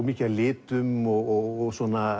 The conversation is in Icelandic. mikið af litum og